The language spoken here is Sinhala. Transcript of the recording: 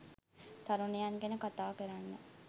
තරුණයන් ගැන කතා කරන්න